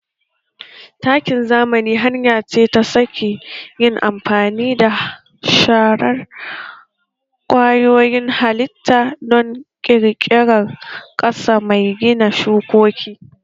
Takin zamani hanya ce ta sake yin amfani da sharar kwayoyin halitta don ƙirƙirar ƙasa mai gina shukoki